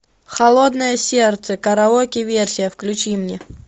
холодное сердце караоке версия включи мне